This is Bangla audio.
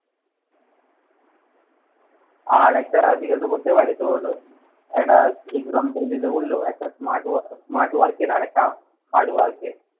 আর একটা জিজ্ঞাসা করতে পারে। তোর একটা example দিতে বললো একটা smart wow smart work এর আরেকটা hard work এর